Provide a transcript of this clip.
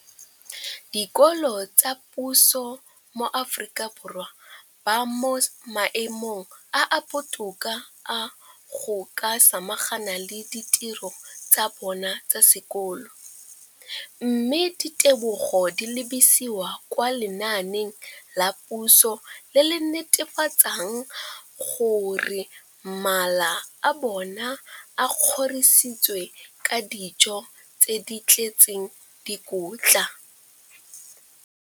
Dikolo tsa puso mo Aforika Borwa ba mo maemong a a botoka a go ka samagana le ditiro tsa bona tsa sekolo, mme ditebogo di lebisiwa kwa lenaaneng la puso le le netefatsang gore mala a bona a kgorisitswe ka dijo tse di tletseng dikotla.